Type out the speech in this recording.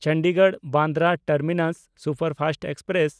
ᱪᱚᱱᱰᱤᱜᱚᱲ-ᱵᱟᱱᱫᱨᱟ terminus superfast express